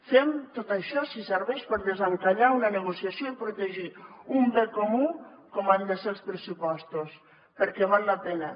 fem tot això si serveix per desencallar una negociació i protegir un bé comú com han de ser els pressupostos perquè val la pena